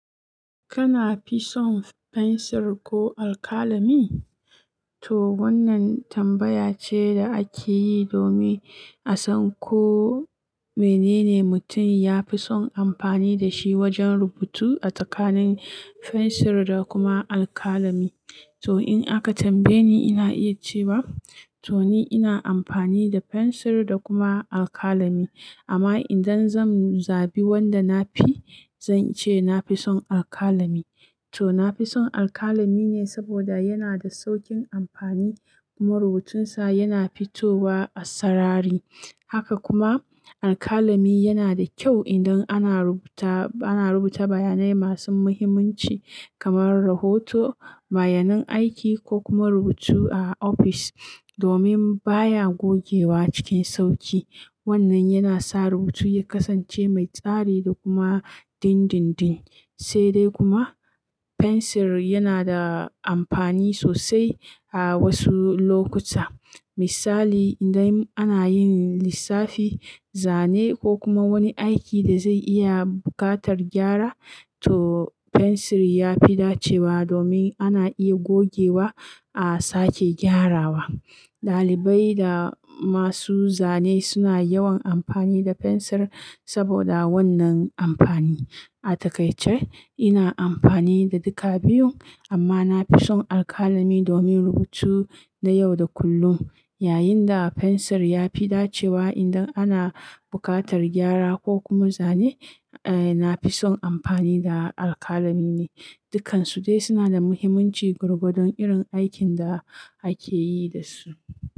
Kana fisun fensir ko alkalami? To wannan tambaya ce da ake yi domin a san ko menene mutum ya fi son amfani da shi wajen rubutu a tsakanin fensir da kuma alkalami. To in aka tambaye ni ina iya cewa, to ni ina amfani da fensir da kuma alkalami. Amma idan zan zabi wanda na fi, zan ce na fi son alkalami. To na fi son alkalami ne saboda yana da saukin amfani kuma rubutunsa yana fitowa a sarari. Haka kuma alkalami yana da kyau idan ana rubuta, ana rubuta bayanai masu muhimmanci kamar rahoto, bayanan aiki ko kuma rubutu a ofis domin baya gogewa cikin sauƙi. Wannan yana sa rubutu ya kasance mai tsari da kuma dindindin. Sai dai kuma fensir yana da amfani sosai a wasu lokuta. Misali idan ana yin lissafi, zane ko kuma wani aiki da zai iya buƙatar gyara, to fensir ya fi dacewa domin ana iya gogewa a sake gyarawa. Ɗalibai da masu zane suna yawan amfani da fensir saboda wannan amfani. A takaice ina amfani da duka biyun amma na fi son alkalami domin rubutu na yau da kullum, yayin da fensir ya fi dacewa idan ana buƙatar gyara ko kuma zane, eh na fi son amfani da alkalami ne. Dukansu dai suna da muhimmanci gwargwadon irin aikin da ake yi da su.